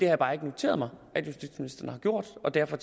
jeg bare ikke noteret mig at justitsministeren har gjort og derfor